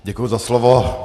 Děkuji za slovo.